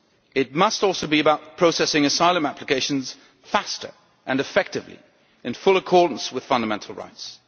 It must also be about processing asylum applications faster and effectively, in full accordance with fundamental rights.